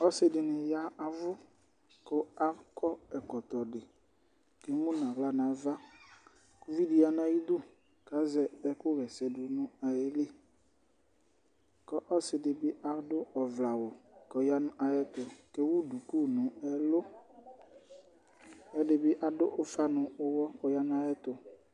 Ɔsiɖìní ya avʋ ku akɔ ɛkɔtɔ ɖi Emuŋu aɣla nʋ ava Uvìɖí yanu ayʋidu kʋ azɛ ɛkʋ ɣɛsɛɖu ayìlí Ɔsiɖìbi aɖʋ ɔvlɛ awu kʋ ɔyaŋu ɛɣɛtu kʋ ewu ɖʋku ŋu ɛlu Ɛɖibì aɖu ufa ŋu uwɔ kʋ ɔyaŋu ayɛtu